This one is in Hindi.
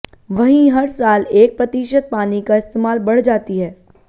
वहीं हर साल एक प्रतिशत पानी का इस्तेमाल बढ़ जाती है